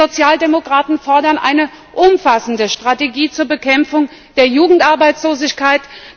Wir Sozialdemokraten fordern eine umfassende Strategie zur Bekämpfung der Jugendarbeitslosigkeit.